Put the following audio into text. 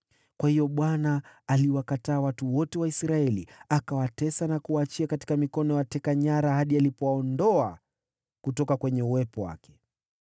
Kwa hiyo Bwana aliwakataa watu wote wa Israeli; akawatesa na kuwaachia katika mikono ya wateka nyara hadi alipowaondoa kutoka kwenye uwepo wake.